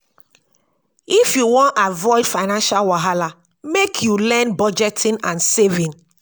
if you wan avoid financial wahala lmake you learn budgeting and saving.